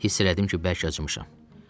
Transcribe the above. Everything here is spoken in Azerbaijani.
Hiss elədim ki, bərk acmışam.